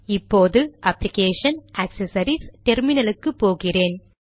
இப்போது application GT accessories GT terminal க்கு போகிறேன்